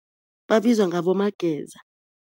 Babizwa ngabomageza.